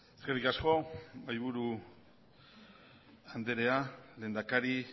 eskerrik asko mahaiburu anderea lehendakari